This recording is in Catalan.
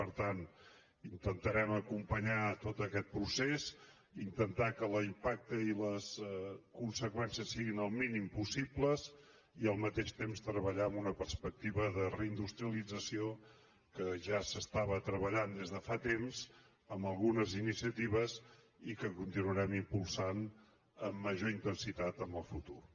per tant intentarem acompanyar tot aquest procés intentar que l’impacte i les conseqüències siguin el mínim possible i al mateix temps treballar amb una perspectiva de reindustrialització amb què ja s’està treballant des de fa temps amb algunes iniciatives que continuarem impulsant amb major intensitat en el futur